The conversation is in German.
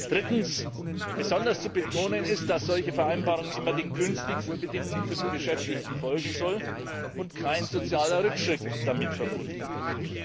Drittens Besonders zu betonen ist, dass solche Vereinbarungen immer den günstigsten Bedingungen für die Beschäftigten folgen sollen und kein sozialer Rückschritt damit verbunden wird.